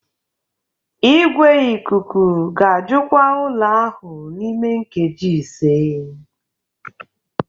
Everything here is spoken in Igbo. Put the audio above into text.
Igwe ikuku ga-ajụkwa ụlọ ahụ n'ime nkeji ise